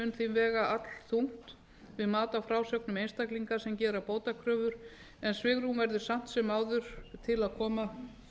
vega allþungt við mat á frásögnum einstaklinga sem gera bótakröfur en svigrúm verður samt sem áður til að koma